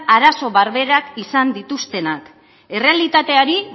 arazo berberak izan dituztenak errealitateari